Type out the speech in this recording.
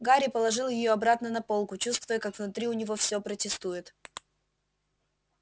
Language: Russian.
гарри положил её обратно на полку чувствуя как внутри у него всё протестует